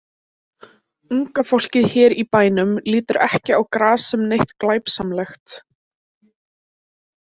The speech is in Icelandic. Unga fólkið hér í bænum lítur ekki á gras sem neitt glæpsamlegt.